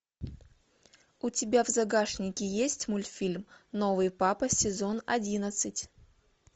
у тебя в загашнике есть мультфильм новый папа сезон одиннадцать